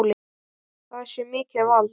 Það sé mikið vald.